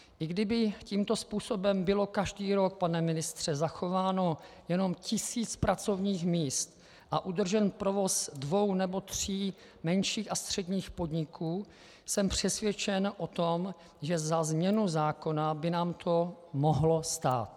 I kdyby tímto způsobem bylo každý rok, pane ministře, zachováno jenom tisíc pracovních míst a udržen provoz dvou nebo tří menších a středních podniků, jsem přesvědčen o tom, že za změnu zákona by nám to mohlo stát.